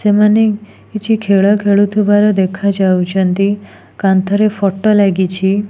ସେମାନେ କିଛି ଖେଳ ଖେଳୁଥିବାର ଦେଖା ଯାଉଛନ୍ତି କାନ୍ଥ ରେ ଫଟୋ ଲାଗିଛି।